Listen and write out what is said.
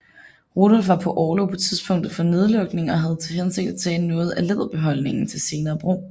Rudolf var på orlov på tidspunktet for nedlukning og havde til hensigt at tage noget af læderbeholdningen til senere brug